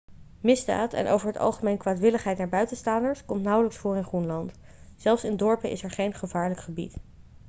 misdaad en over het algemeen kwaadwilligheid naar buitenstaanders komt nauwelijks voor in groenland zelfs in dorpen is er geen gevaarlijk gebied'